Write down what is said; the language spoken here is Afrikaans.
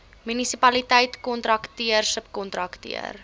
munisipaliteit kontrakteur subkontrakteur